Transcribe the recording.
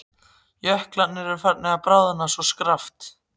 Jöklarnir eru farnir að bráðna svo skarpt.